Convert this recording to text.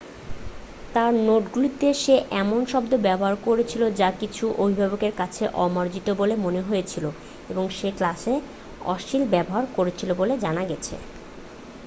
তাঁর নোটগুলিতে সে এমন শব্দ ব্যবহার করেছিল যা কিছু অভিভাবকের কাছে অমার্জিত বলে মনে হয়েছিল এবং সে ক্লাসে অশ্লীল ব্যবহার করেছে বলে জানা গেছে